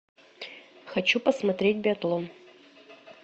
хочу посмотреть биатлон